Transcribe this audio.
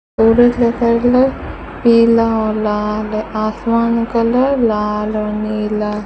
सूरज का कलर पिला और लाल है आसमान का कलर लाल और नीला --